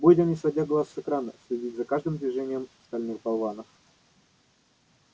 будем не сводя глаз с экрана следить за каждым движением стальных болванов